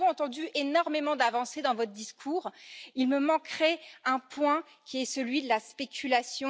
Nous avons entendu énormément d'avancées dans votre discours, mais il manque encore un point, qui est celui de la spéculation.